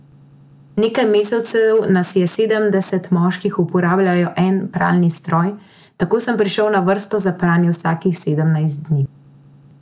Nekaj mesecev nas je sedemdeset moških uporabljalo en pralni stroj, tako sem prišel na vrsto za pranje vsakih sedemnajst dni.